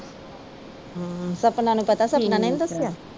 ਸਪਨਾ ਨੂੰ ਪਤਾ ਸਪਨਾ ਨੇ ਨਹੀਂ ਦਸਿਆ